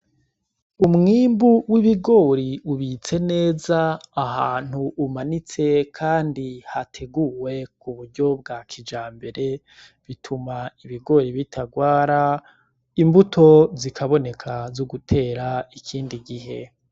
Umwimbu w’ibigori ubitse neza ahantu umanitse kandi hateguwe ku buryo bwa kijambere. Bituma ibigori bitarwara, imbuto zikaboneka zo gutera ikindi gihe.